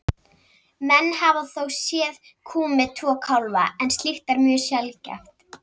Menn hafa þó séð kú með tvo kálfa en slíkt er mjög sjaldgæft.